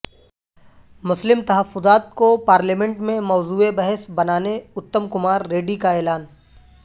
مسلم تحفظات کو پارلیمنٹ میں موضوع بحث بنانے اتم کمار ریڈی کا اعلان